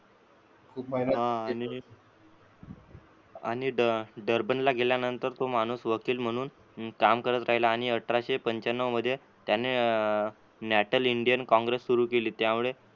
आणि ड डरबनला गेल्यानंतर तो माणूस वकील म्हणून काम करत राहिला आणि अठराशे पंच्यानवमध्ये त्यांनी न्याटल इंडियन काँग्रेस सुरू केली. त्यामुळे